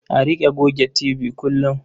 A riƙa goge tibi kullum.